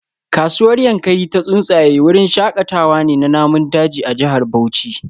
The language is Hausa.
Kasuwar Yankari Ta Tsuntsaye wurin shakatawa ne na namun daji a jihar Bauchi